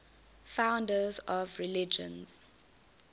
founders of religions